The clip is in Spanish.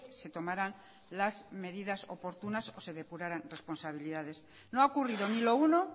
se tomaran las medidas oportunas o se depuraran responsabilidades no ha ocurrido ni lo uno